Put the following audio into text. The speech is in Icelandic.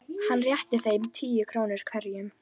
Hann rétti þeim tíu krónur hverjum.